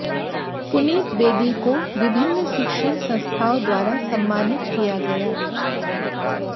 पुनीत बेदी को विभिन्न शिक्षण संस्थाओं द्वारा सम्मानित किया गया